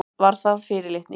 Var það fyrirlitning?